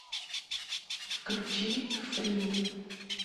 включи фри